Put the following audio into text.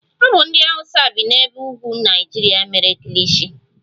Ọ bụ ndị hausa bi n'ebe ugwu Naịjirịa mere Kilishi.